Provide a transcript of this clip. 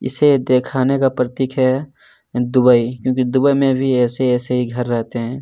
इसे दिखाने का प्रतीक है दुबई क्योंकि दुबई में भी ऐसे-ऐसे ही घर रहते हैं।